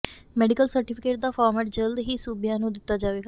medical certificate ਦਾ format ਜਲਦ ਹੀ ਸੂਬਿਆਂ ਨੂੰ ਦਿੱਤਾ ਜਾਵੇਗਾ